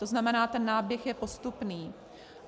To znamená, ten náběh je postupný.